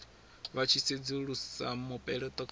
vha tshi sedzulusa mupeleto kha